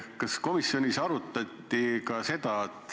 Kas komisjonis arutati ka seda teemat?